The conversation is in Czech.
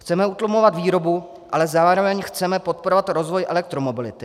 Chceme utlumovat výrobu, ale zároveň chceme podporovat rozvoj elektromobility.